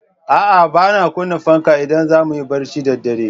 A'a, ba ma kunna fanka idan za mu yi barci da dare.